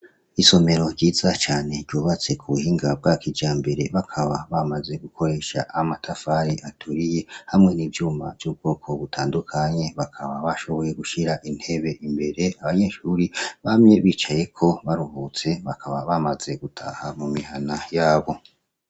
Isomero ryiza cane ryubatswe ku buhinga bwa kijambere, bakaba bamaze gukoresha amatafari aturiye, hamwe n'ivyuma vy'ubwoko butandukanye; bakaba bashoboye gushira intebe imbere, abanyeshuri bamye bicayeko baruhutse bakaba bamaze gutaha mu mihana yabo.